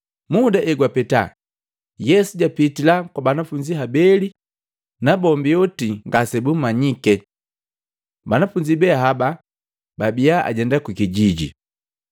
Muda egwapeta Yesu japitila kwa banafunzi habeli nabombi oti ngasebummanyike. Banafunzi be haba babia ajenda kukijijini.